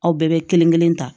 Aw bɛɛ bɛ kelen kelen ta